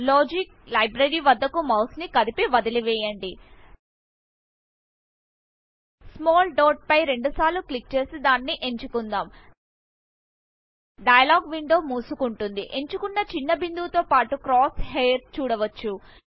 logic library వద్దకు mouse ని కదిపి వదిలేయండి స్మాల్ డాట్ ఫై రెండుసార్లు క్లిక్ చేసి దాన్ని ఎంచుకుందాం డైలాగ్ విండో మూసుకుంటుంది ఎంచుకున్నచిన్న బిందువు తో పాటు క్రాస్ హెయిర్ చూడవచ్చు